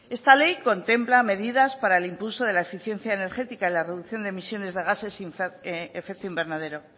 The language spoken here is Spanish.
esta ley contempla medidas para el impulso de la eficiencia energética en la reducción de emisiones de gases efecto invernadero